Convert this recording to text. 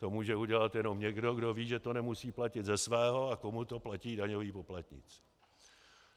To může udělat jenom někdo, kdo ví, že to nemusí platit ze svého a komu to platí daňoví poplatníci.